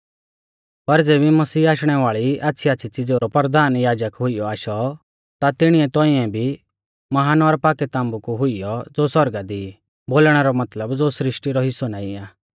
पर ज़ेबी मसीह आशणै वाल़ी आच़्छ़ीआच़्छ़ी च़िज़ेऊ रौ परधान याजक हुइयौ आशौ ता तिणीऐ तौंइऐ भी महान और पाक्कै ताम्बु कु हुइयौ ज़ो सौरगा दी ई बोलणै रौ मतलब ज़ो सृष्टी रौ हिस्सौ नाईं आ